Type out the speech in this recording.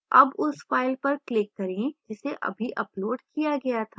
अब उस file पर click करें जिसे अभी uploaded किया गया था